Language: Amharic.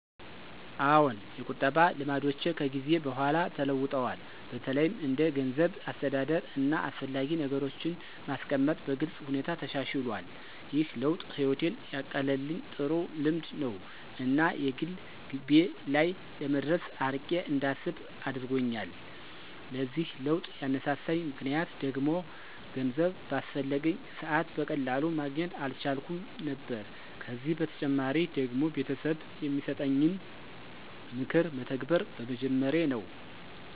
አዎን፣ የቁጠባ ልማዶቼ ከጊዜ በኋላ ተለውጠዋል። በተለይም እንደ ገንዘብ አስተዳደር፣ እና አስፈላጊ ነገሮችን ማስቀመጥ በግልጽ ሁኔታ ተሻሽሎል። ይህ ለውጥ ህይወቴን ያቀለልኝ ጥሩ ልምድ ነው እና የግል ግቤ ላይ ለመድረስ አርቄ እንዳስብ አደረጎኛል። ለዚህ ለውጥ ያነሳሳኝ ምክንያት ደግሞ ገንዘብ ባስፈለገኝ ሰዐት በቀላሉ ማግኘት አልቻልኩም ነበር ከዚ በተጨማሪ ደግሞ ቤተሰብ የሚሰጠኝን ምክር መተግበር በመጀመሬ ነው።